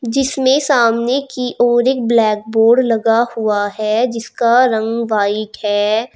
जिसमें सामने की ओर एक ब्लैक बोर्ड लगा हुआ है जिसका रंग व्हाइट है।